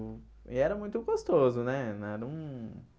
E era muito gostoso, né? Na num